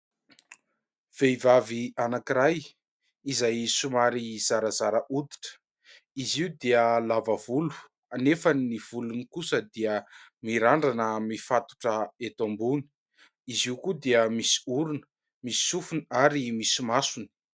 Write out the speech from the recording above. Vehivavy anankiray izay somary zarazara hoditra, izy io dia lava volo anefa ny volony kosa dia mirandrana mifatotra eto ambony, izy io koa dia misy orona, misy sofony ary misy maso.